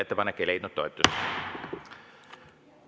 Ettepanek ei leidnud toetust.